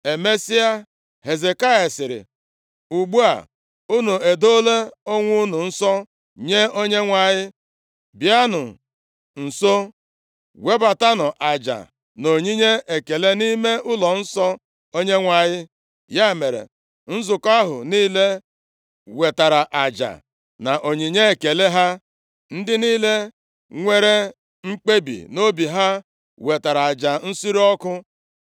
Emesịa, Hezekaya sịrị, “Ugbu a unu edoola onwe unu nsọ nye Onyenwe anyị, bịanụ nso, webatanụ aja na onyinye ekele nʼime ụlọnsọ Onyenwe anyị.” Ya mere, nzukọ ahụ niile wetaara aja na onyinye ekele ha, ndị niile nwere mkpebi nʼobi ha wetara aja nsure ọkụ.